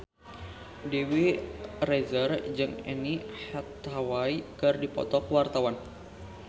Dewi Rezer jeung Anne Hathaway keur dipoto ku wartawan